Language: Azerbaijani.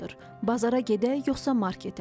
Bazara gedək, yoxsa marketə?